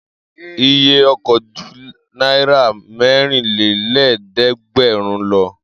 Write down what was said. Iye ọkọ̀ ju náírà mẹ́rinlélẹ́ẹ̀dẹ́gbẹ̀rún lọ.